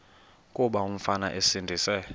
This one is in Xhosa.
kuba umfana esindise